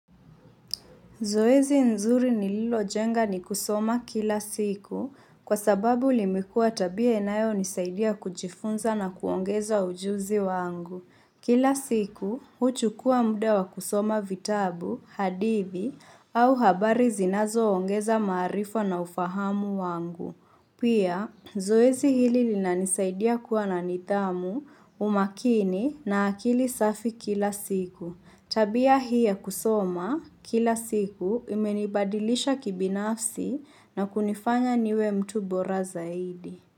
Zoezi nzuri nililojenga ni kusoma kila siku kwa sababu limekuwa tabia inayo nisaidia kujifunza na kuongeza ujuzi wangu. Kila siku, huchukua mda wa kusoma vitabu, hadithi au habari zinazo ongeza maarifa na ufahamu wangu. Pia, zoezi hili linanisaidia kuwa na nidhamu, umakini na akili safi kila siku. Tabia hii ya kusoma kila siku imenibadilisha kibinafsi na kunifanya niwe mtu bora zaidi.